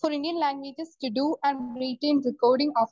speaker 1 full നിൽ recording